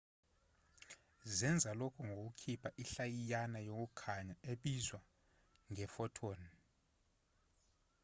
zenza lokhu ngokukhipha inhlayiyana yokukhanya ebizwa nge-photon